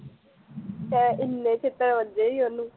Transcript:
ਏਨੇ ਛਿੱਤਰ ਵੱਜੇ ਸੀ ਓਹਨੂੰ